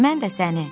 Mən də səni.